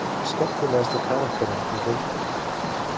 Spurning dagsins: Hver er skemmtilegasti karakterinn í deildinni?